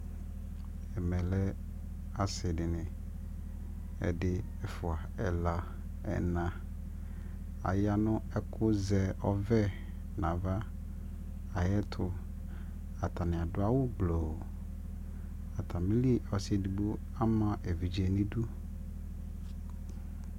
ɛmɛ lɛ asii dini, ɛdi, ɛƒʋa, ɛla, ɛna, ayanʋ ɛkʋ zɛ ɔvɛ nʋ aɣa ayɛtʋ, atani adʋ awʋ blɔ, atamili ɔsii ɛdigbɔ ama ɛvidzɛ nʋ idʋ